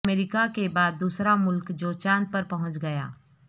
امریکہ کے بعد دوسرا ملک جو چاند پر پہنچ گیا